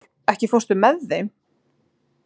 Ásdór, ekki fórstu með þeim?